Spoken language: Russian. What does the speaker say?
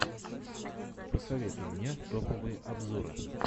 посоветуй мне топовые обзоры